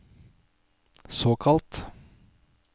såkalt